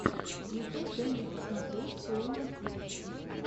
ютуб дай мне посмотреть клуна тик